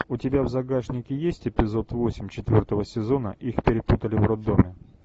у тебя в загашнике есть эпизод восемь четвертого сезона их перепутали в роддоме